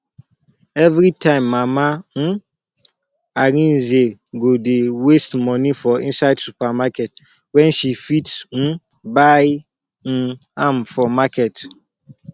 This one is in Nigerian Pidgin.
everytime mama um arinze go dey waste money for inside supermarket when she fit um buy um am for market